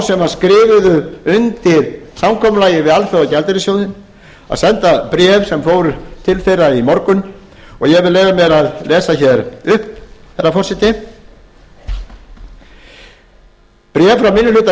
sem skrifuðu undir samkomulagið við alþjóðagjaldeyrissjóðinn að senda bréf sem fóru til þeirra í morgun og ég vil leyfa mér að lesa hér upp herra forseti bréf frá minni